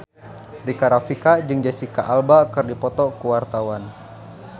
Rika Rafika jeung Jesicca Alba keur dipoto ku wartawan